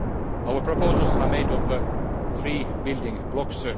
Our proposals are made of three building blocks.